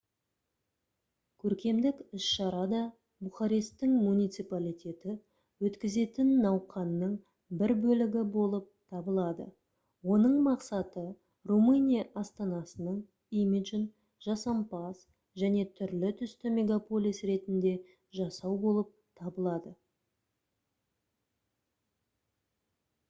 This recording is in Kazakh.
көркемдік іс-шара да бухаресттің муниципалитеті өткізетін науқанның бір бөлігі болып табылады оның мақсаты румыния астанасының имиджін жасампаз және түрлі-түсті мегаполис ретінде жасау болып табылады